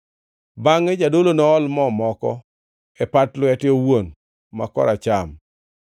Bangʼe jadolo nool mo moko e pat lwete owuon ma koracham,